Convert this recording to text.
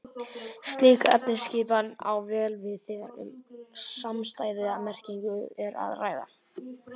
Slík efnisskipan á vel við þegar um samstæða merkingu er að ræða.